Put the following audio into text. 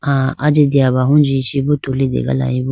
ah ajiteyabahunji chee bo tulitegalayibo.